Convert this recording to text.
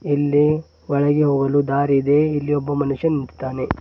ಇಲ್ಲಿ ಒಳಗೆ ಹೋಲು ದಾರಿ ಇದೆ ಇಲ್ಲಿ ಒಬ್ಬ ಮನುಷ್ಯನಿದ್ದಾನೆ.